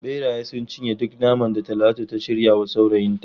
Beraye sun cinye duk naman da Talatu ta shirya wa surukinta.